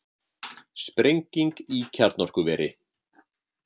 Sprenging í kjarnorkuveri